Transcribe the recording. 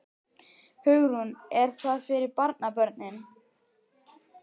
Hugrún: Er það fyrir barnabörnin?